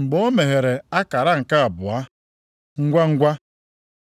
Mgbe o meghere akara nke abụọ, ngwangwa,